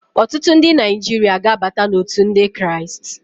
Ọtụtụ ndị Naijiria ga-abata n'òtù ndị Kraịst.